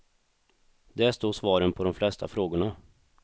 Där står svaren på de flesta frågorna.